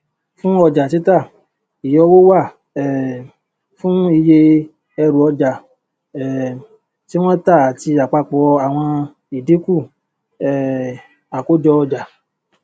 fun ọjà títà ìyọwó wà um fún iye ẹrùọjà um tí wọn tà àti àpapọ àwọn ìdínkù um àkójọọjà